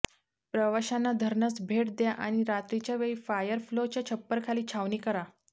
प्रवाशांना धरणास भेट द्या आणि रात्रीच्या वेळी फायरफ्लोच्या छप्पर खाली छावणी करा